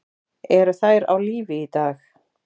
Eru þær á lífi í dag?